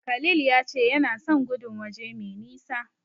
Khalil ya ce yana son gudun waje mai nisa.